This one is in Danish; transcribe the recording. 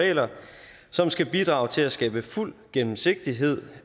regler som skal bidrage til at skabe fuld gennemsigtighed